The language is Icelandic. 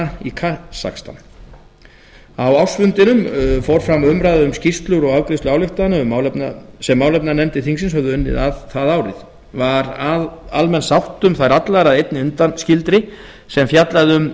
astana í kasakstan á ársfundinum fór fram umræða um skýrslur og afgreiðsla ályktana sem málefnanefndir þingsins höfðu unnið að það árið var almenn sátt um þær allar að einni undanskildri sem fjallaði um